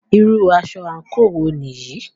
Irú aṣọ àńkò wo nìyí?